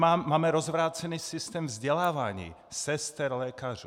Máme rozvrácený systém vzdělávání sester, lékařů.